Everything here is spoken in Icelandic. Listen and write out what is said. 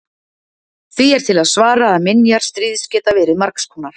Því er til að svara að minjar stríðs geta verið margs konar.